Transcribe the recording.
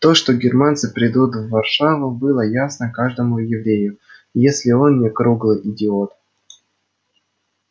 то что германцы придут в варшаву было ясно каждому еврею если он не круглый идиот